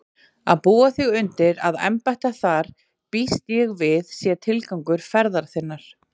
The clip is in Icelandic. Að búa þig undir að embætta þar býst ég við sé tilgangur ferðar þinnar.